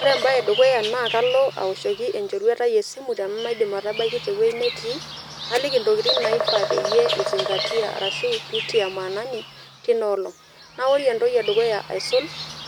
Ore embaye e dukuya naa kalo awoshoki enchoruetai esimu tenamaidim atabaiki te wuei netii, naliki ntokitin naifaa peyie izing'atia arashu piitia maanani tina olong'. Naa ore entoki e dukuya aisul